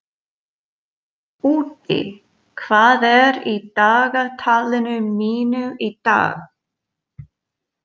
Úddi, hvað er í dagatalinu mínu í dag?